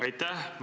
Aitäh!